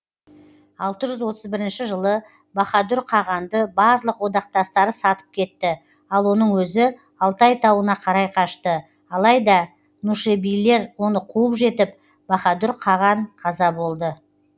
алты жүз отыз бірінші жылы баһадүр қағанды барлық одақтастары сатып кетті ал оның өзі алтай тауына қарай қашты алайда нушебилер оны қуып жетіп баһадүр қаған қаза болды